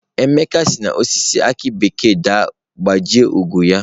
Emeka si n'osisi aki bekee daa gbajie ụkwụ ya